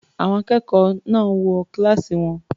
Àwọn akẹ́kọ̀ọ́ náà wọ kíláàsì wọn.